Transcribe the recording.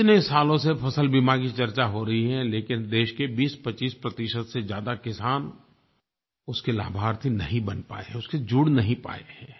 इतने सालों से फ़सल बीमा की चर्चा हो रही है लेकिन देश के 2025 प्रतिशत से ज़्यादा किसान उसके लाभार्थी नहीं बन पाए हैं उससे जुड़ नहीं पाए है